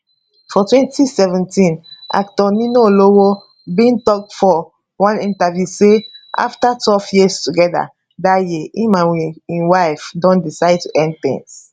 for 2017 actor ninalowo bin tok for one interview say afta12 years togeda dat year e and im wife don decide to end tins